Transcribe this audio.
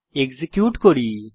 execute করি